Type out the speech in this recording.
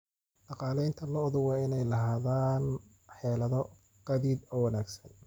Dhaqanleyda lo'du waa inay lahaadaan xeelado gaadiid oo wanaagsan.